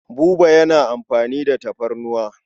Buba yana amfani da tafarnuwa.